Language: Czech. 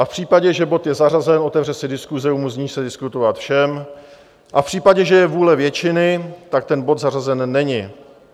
A v případě, že bod je zařazen, otevře se diskuse, umožní se diskutovat všem a v případě, že je vůle většiny, tak ten bod zařazen není.